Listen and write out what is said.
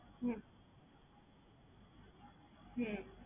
হুম হুম